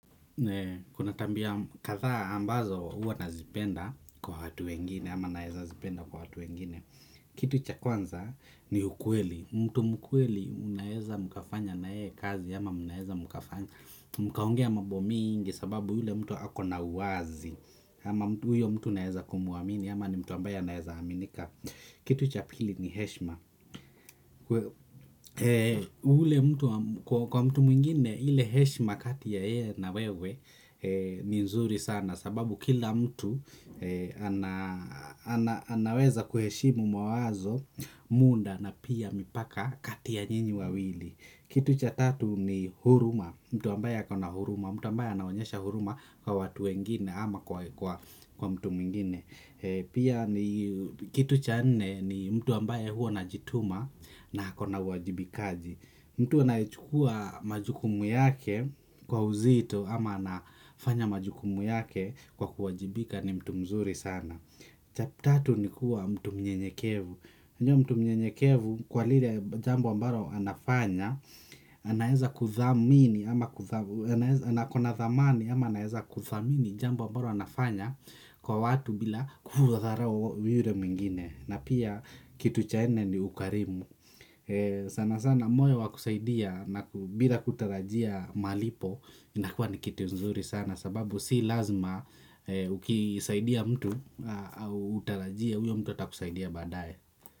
Kuna tabia kadhaa ambazo huwa nazipenda kwa watu wengine ama naeza zipenda kwa watu wengine kitu cha kwanza ni ukweli, mtu mkweli unaeza mkafanya na yeye kazi ama mnaeza mkafanya mkaongea mambo mingi sababu ule mtu ako na uwazi ama huyo mtu naeza kumuamini ama ni mtu ambaye anaeza aminika kitu cha pili ni heshima kwa mtu mwingine ile heshima kati ya yeye na wewe ni nzuri sana sababu kila mtu anaweza kuheshimu mawazo muda na pia mipaka kati ya nyinyi wawili kitu cha tatu ni huruma mtu ambaye akona huruma mtu ambaye anaonyesha huruma kwa watu wengine ama kwa mtu mwingine pia ni kitu cha nne ni mtu ambaye huwa anajituma na ako na uwajibikaji. Mtu anayechukua majukumu yake kwa uzito ama anafanya majukumu yake kwa kuwajibika ni ktu mzuri sana cha tatu ni kuwa mtu mnyenyekevu unajua mtu mnyenyekevu kwa lile jambo ambalo anafanya anaeza kuthamini ama kuthamini na ako na dhamani ama anaeza kuthamini jambo ambalo anafanya kwa watu bila kudharau yule mwingine na pia kitu cha nne ni ukarimu sana sana moyo wa kusaidia bila kutarajia malipo inakua ni kitu nzuri sana sababu si lazima ukisaidia mtu au utarajia huyo mtu atakusaidia badaye.